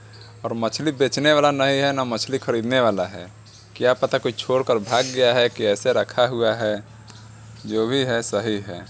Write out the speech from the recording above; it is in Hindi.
और मछली बेचने वाला न नए है न मछली खरीदने वाला है। क्या पता कोई छोड़कर भाग गया है की एैसे रखा हुआ है जो भी है सही है।